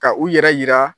Ka u yɛrɛ yira